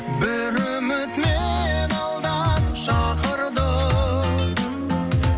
бір үміт мені алдан шақырды